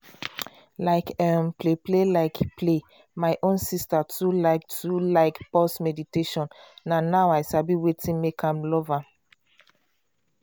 like um play like play my own sister too like too like pause meditation na now i sabi wetin dey make am love am.